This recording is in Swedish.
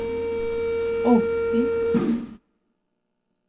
åttio